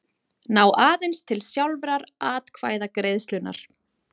ná aðeins til sjálfrar atkvæðagreiðslunnar.